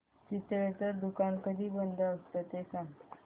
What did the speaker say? चितळेंचं दुकान कधी बंद असतं ते सांग